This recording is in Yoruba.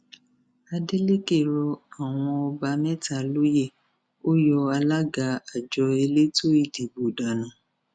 adeleke rọ àwọn ọba mẹta lóyè ó yọ alága àjọ elétò ìdìbò dànù